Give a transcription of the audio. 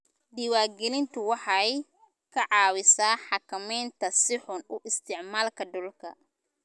Diiwaangelintu waxay ka caawisaa xakamaynta si xun u isticmaalka dhulka.